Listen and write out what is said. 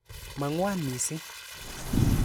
Ma ng'wan missing'.